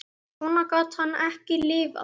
Svona gat hann ekki lifað.